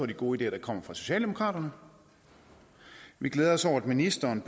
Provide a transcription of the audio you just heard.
de gode ideer der kommer fra socialdemokraterne og vi glæder os over at ministeren